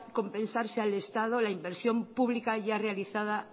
compensarse al estado la inversión pública ya realizada